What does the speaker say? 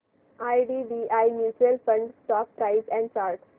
IDBI mutual fund stock price and chart